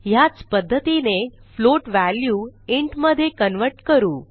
ह्याच पध्दतीने float value int मधे कन्व्हर्ट करू